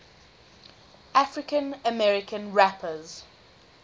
african american rappers